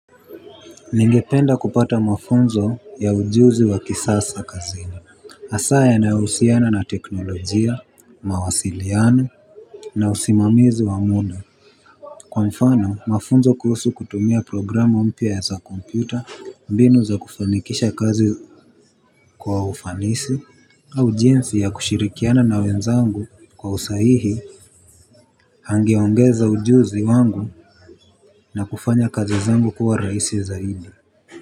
Ningependa kupata mafunzo ya ujuzi wa kisasa kazini. Hasaa yanayohusiana na teknolojia mawasiliano. Na usimamizi wa muda, kwa mfano mafunzo kuhusu kutumia programu mpya za kompyuta, mbinu za kufanikisha kazi kwa ufanisi au jinsi ya kushirikiana na wenzangu kwa usahihi angeongeza ujuzi wangu na kufanya kazi zangu kuwa rahisi zaidi.